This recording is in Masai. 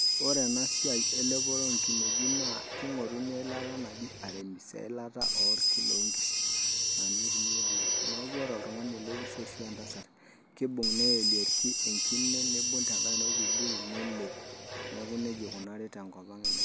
Ore ena siai elepore oo nkineji naa eilata naji arimis eilata oorki loo nkishu naa ninye eitumiae, neeku ore oltungani lemusho ashu entasat kidim neelie irki enkine nibung orkibuyu nelep nelepie neeku nejia ikunari tenkop ang' elepore.